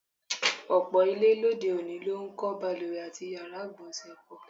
Ò̩pò̩ ilé lóde-òní ló ń kó̩ balùwè àti yàrá ìgbò̩nsè̩ pò̩.